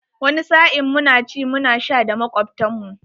Wani sa'in muna ci muna sha da makwabtan mu.